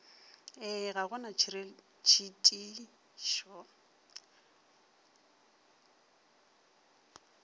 ee ga go na ditšhitišo